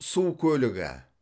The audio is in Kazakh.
су көлігі